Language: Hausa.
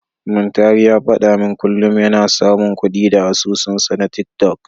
Muntari ya faɗa min kullum yana samun kuɗi da asusunsa na tiktok.